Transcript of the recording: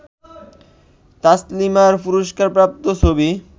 তাসলিমার পুরস্কারপ্রাপ্ত ছবি